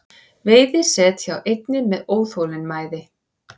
Veiði set hjá einni með óþolinmæði